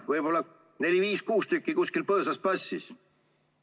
Võib-olla neli, viis või kuus tükki kuskil põõsas passis.